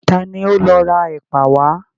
Ta ni ó lọ ra ẹ̀pà wá?